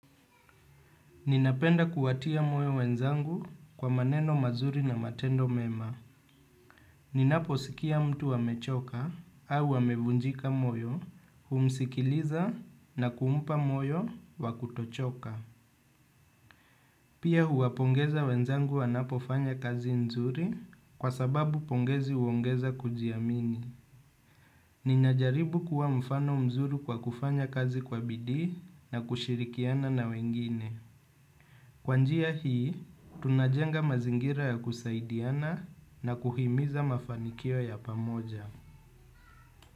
Ninapenda kuwatia moyo wenzangu kwa maneno mazuri na matendo mema. Ninaposikia mtu amechoka au amevunjika moyo, humsikiliza na kumpa moyo wa kutochoka. Pia huwapongeza wenzangu wanapofanya kazi nzuri kwa sababu pongezi huongeza kujiamini. Ninajaribu kuwa mfano mzuri kwa kufanya kazi kwa bidii na kushirikiana na wengine. Kwa njia hii, tunajenga mazingira ya kusaidiana na kuhimiza mafanikio ya pamoja.